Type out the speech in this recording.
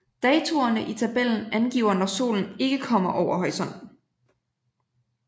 Datoerne i tabellen angiver når solen ikke kommer over horisonten